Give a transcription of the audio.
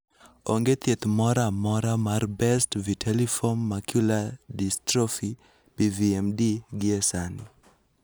Onge thieth moro amora mar Best vitelliform macular dystrophy (BVMD) gie sani.